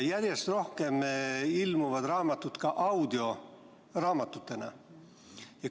Järjest rohkem ilmuvad raamatud aga ka audioraamatutena.